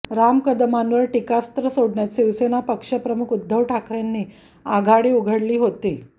राम कदमांवर टीकास्त्र सोडण्यात शिवसेना पक्षप्रमुख उद्धव ठाकरेंनी आघाडी उघडली होती